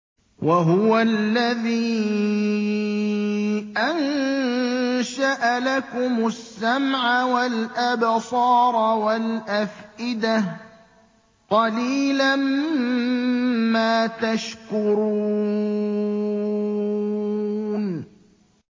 وَهُوَ الَّذِي أَنشَأَ لَكُمُ السَّمْعَ وَالْأَبْصَارَ وَالْأَفْئِدَةَ ۚ قَلِيلًا مَّا تَشْكُرُونَ